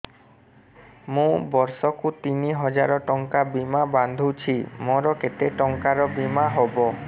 ମୁ ବର୍ଷ କୁ ତିନି ହଜାର ଟଙ୍କା ବୀମା ବାନ୍ଧୁଛି ମୋର କେତେ ଟଙ୍କାର ବୀମା ହବ